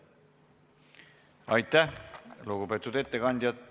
Aitäh, lugupeetud ettekandja!